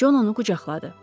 Con onu qucaqladı.